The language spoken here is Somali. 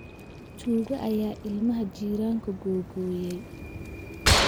Tuugaa ayaa ilmaha jiranku googooyay